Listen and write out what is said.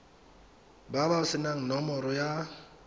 ba ba senang nomoro ya